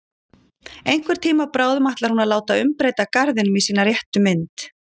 Einhvern tíma bráðum ætlar hún að láta umbreyta garðinum í sína réttu mynd.